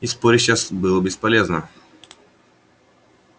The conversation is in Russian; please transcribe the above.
и спорить сейчас было бесполезно